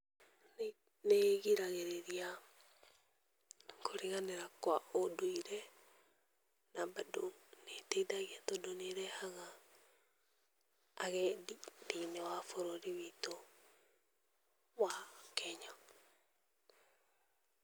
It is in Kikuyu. Nĩ ĩgiragĩrĩria kũriganĩra kwa ũndũire, na bado nĩ ĩteithagia tondũ nĩ ĩrehaga agendi thĩ-inĩ wa bũrũri witũ, wa Kenya.